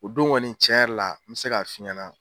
O don kɔni cɛn yɛrɛ la n be se k'a f'i ɲɛna